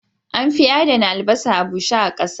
An fi adana albasa a bushe ƙasa